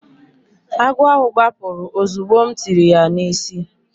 Agwọ ahụ gbapụrụ ozugbo m tiri ya n’isi.